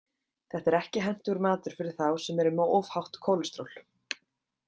Þetta er ekki hentugur matur fyrir þá sem eru með of hátt kólesteról.